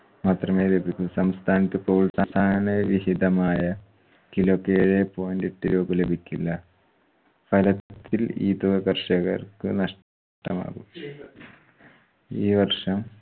മാത്രമേ ലഭിക്കു സംസ്ഥാനത്ത്‌ ന് രഹിതമായ kilo ക്ക് ഏഴേ point എട്ട് രൂപ ലഭിക്കില്ല. ഫലത്തിൽ ഈതവ കർഷകർക്ക് നഷ്ടമാകും ഈ വർഷം